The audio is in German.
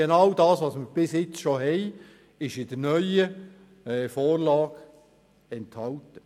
Genau das, was wir schon bisher hatten, ist auch in der neuen Vorlage enthalten.